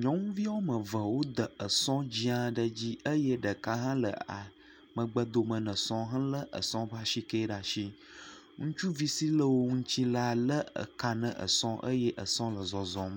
nyɔnuvia woame eve wode esɔ dzɛ̃ aɖe dzi eye ɖeka hã le a.., megbe dome na esɔ helé esɔ ƒe asikɛ na esɔa, ŋutsuvi si le wo ŋuti la lé eka na esɔ eye esɔ le zɔzɔm.